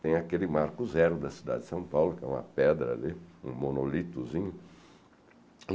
Tem aquele Marco Zero da cidade de São Paulo, que é uma pedra ali, um monolitozinho.